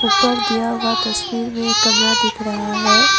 ऊपर दिया हुआ तस्वीर में कमरा दिख रहा है।